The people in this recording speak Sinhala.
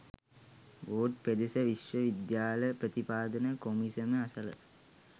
වෝඩ් පෙදෙස විශ්ව විද්‍යාල ප්‍රතිපාදන කොමිසම අසල